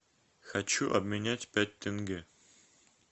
хочу обменять пять тенге